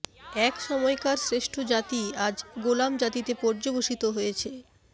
এক সময়কার শ্রেষ্ঠ জাতি আজ গোলাম জাতিতে পর্যবসিত হয়েছে